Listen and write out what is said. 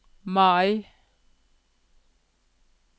Mai